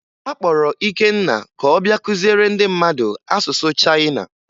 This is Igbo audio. A kpọrọ Ikenna ka ọ bịa kụziere ndị mmadụ asụsụ Chayịna